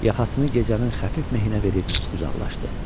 Yaxasını gecənin xəfif mehininə verib uzaqlaşdı.